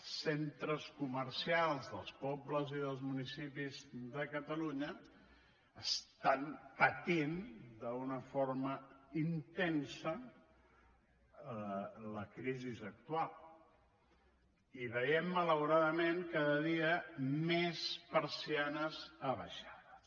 els centres comercials dels pobles i dels municipis de catalunya estan patint d’una forma intensa la crisi actual i veiem malauradament cada dia més persianes abaixades